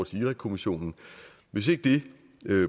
til irakkommissionen hvis ikke det